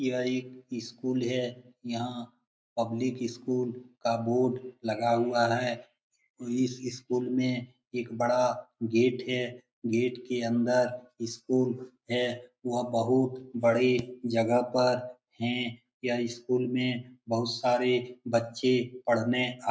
यह एक स्कूल है यहाँ पब्लिक स्कूल का बोर्ड लगा हुआ है इस इस स्कूल में एक बड़ा गेट है गेट के अंदर स्कूल है वह बहुत बड़ी जगह पर है यह स्कूल में बहुत सारे बच्चे पढ़ने आते --